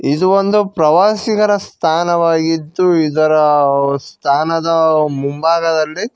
ಇದು ಒಂದು ಪ್ರವಾಸಿಗರ ಸ್ಥಾನವಾಗಿದ್ದು ಇದರ ಸ್ಥಾನದ ಮುಂಭಾಗದಲ್ಲಿ--